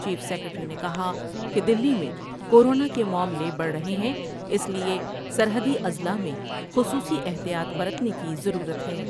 chief secretary نے کہا ، کہ دلی میں کورونا کے معاملے بڑھ رہے ہیں اس لئے سرحدی اضلاع میں خصوصی احتیاط برتنے کی